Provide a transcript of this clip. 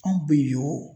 Anw bɛ yen